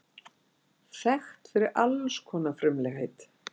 Þekkt fyrir alls konar frumlegheit.